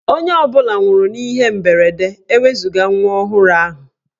Onye ọ bụla nwụrụ n'ihe mberede ewezuga nwa ọhụrụ ahụ.